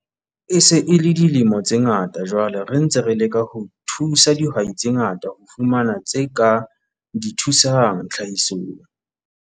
E se e le dilemo tse ngata jwale re ntse re leka ho thusa dihwai tse ngata ho fumana tse ka di thusang tlhahisong.